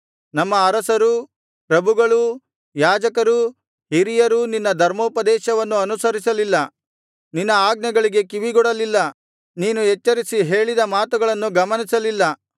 ನಮ್ಮ ಅರಸರೂ ಪ್ರಭುಗಳೂ ಯಾಜಕರೂ ಹಿರಿಯರೂ ನಿನ್ನ ಧರ್ಮೋಪದೇಶವನ್ನು ಅನುಸರಿಸಲಿಲ್ಲ ನಿನ್ನ ಆಜ್ಞೆಗಳಿಗೆ ಕಿವಿಗೊಡಲಿಲ್ಲ ನೀನು ಎಚ್ಚರಿಸಿ ಹೇಳಿದ ಮಾತುಗಳನ್ನು ಗಮನಿಸಲಿಲ್ಲ